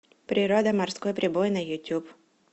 природа морской прибой на ютуб